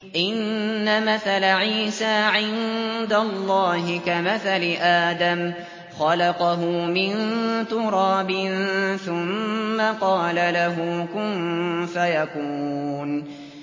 إِنَّ مَثَلَ عِيسَىٰ عِندَ اللَّهِ كَمَثَلِ آدَمَ ۖ خَلَقَهُ مِن تُرَابٍ ثُمَّ قَالَ لَهُ كُن فَيَكُونُ